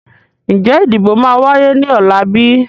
Ń jẹ́ ìdìbò máa wáyé ní ọ̀la bíi?